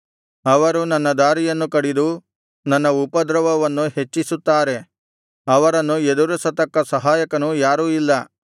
ಅವರು ನನ್ನ ದಾರಿಯನ್ನು ಕಡಿದು ನನ್ನ ಉಪದ್ರವವನ್ನು ಹೆಚ್ಚಿಸುತ್ತಾರೆ ಅವರನ್ನು ಎದುರಿಸತಕ್ಕ ಸಹಾಯಕನು ಯಾರೂ ಇಲ್ಲ